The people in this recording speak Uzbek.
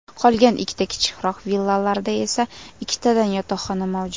Qolgan ikkita kichikroq villalarda esa ikkitadan yotoqxona mavjud.